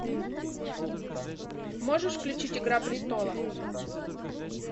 можешь включить игра престолов